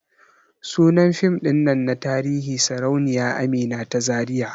Sunan fim din nan na tarihi Sarauniya Amina ta Zariya.